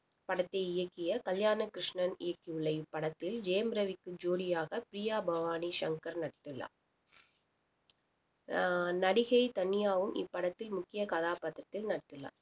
படத்தை இயக்கிய கல்யாண கிருஷ்ணன் இயக்கியுள்ள இப்படத்தில் ஜெயம் ரவிக்கு ஜோடியாக பிரியா பவானிசங்கர் ஆஹ் நடிகை தனியாவும் இப்படத்தில் முக்கிய கதாபாத்திரத்தில் நடித்துள்ளார்